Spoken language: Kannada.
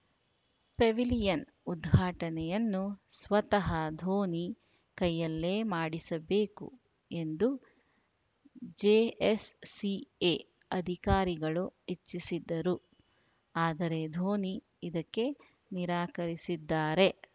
ಪೆವಿಲಿಯನ್‌ ಉದ್ಘಾಟನೆಯನ್ನು ಸ್ವತಃ ಧೋನಿ ಕೈಯಲ್ಲೇ ಮಾಡಿಸಬೇಕು ಎಂದು ಜೆಎಸ್‌ಸಿಎ ಅಧಿಕಾರಿಗಳು ಇಚ್ಛಿಸಿದ್ದರು ಆದರೆ ಧೋನಿ ಇದಕ್ಕೆ ನಿರಾಕರಿಸಿದ್ದಾರೆ